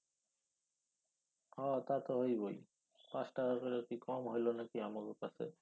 হ তা তো হইবই। পাঁচ টাকা কইরা কি কম হইলো নাকি আমাগো কাছে?